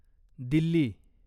Delhi